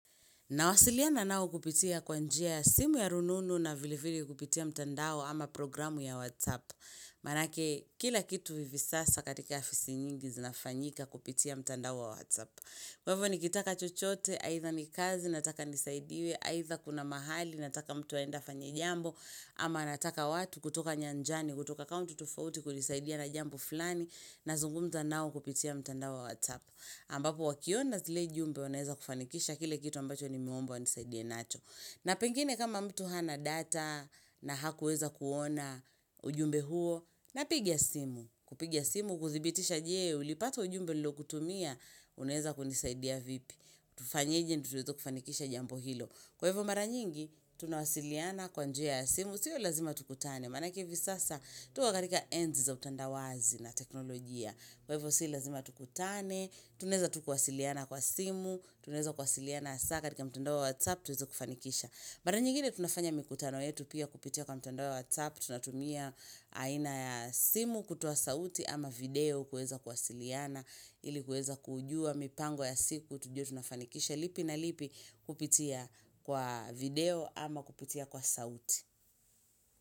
Nawasiliana nao kupitia kwa njia ya simu ya rununu na vilevile kupitia mtandao ama programu ya WhatsApp. Maanake kila kitu vivi sasa katika afisi nyingi zinafanyika kupitia mtandao wa WhatsApp. Kwa hivo nikitaka chochote, aitha ni kazi nataka nisaidiwe, aitha kuna mahali nataka mtu aende afanye jambo, ama nataka watu kutoka nyanjani, kutoka kaunti tofafauti kunisaidia na jambo fulani nazungumza nao kupitia mtandao wa WhatsApp. Ambapo wakiona zile jumbe wanaweza kufanikisha kile kitu ambacho nimeomba wanisaidie nacho. Na pengine kama mtu hana data na hakuweza kuona ujumbe huo, na piga simu. Kupiga simu kuthibitisha je, ulipata ujumbe nilo kutumia, uneza kunisaidia vipi. Tufanyeje ndotuweze kufanikisha jambo hilo. Kwa hivo mara nyingi, tunawasiliana kwa njia ya simu, siyo lazima tukutane. Manake vi sasa, tuko katika enzi za utandawazi na teknolojia. Kwa hivyo sii lazima tukutane, tunaeza tu kwasiliana kwa simu, tunaeza kwasiliana hasa katika tunatumia aina ya simu, kutoa sauti ama video, kueza kwasiliana, ili kueza kujua, mipango ya siku, tujue tunafanikisha, lipi na lipi kupitia kwa video ama kupitia kwa sauti.